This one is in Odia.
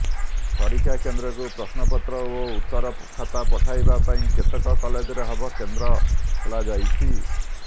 ପରୀକ୍ଷା କେନ୍ଦ୍ରକୁ ପ୍ରଶ୍ନପତ୍ର ଓ ଉତ୍ତର ଖାତା ପଠାଇବା ପାଇଁ କେତେକ କଲେଜରେ ହବ କେନ୍ଦ୍ର ଖୋଲାଯାଇଛି